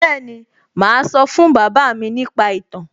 Bẹ́ẹ̀ni, màá sọ fún bàbá mi nípa ìtàn